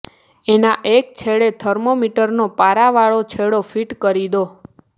એના એક છેડે થર્મોમીટરનો પારાવાળો છેડો ફીટ કરી દો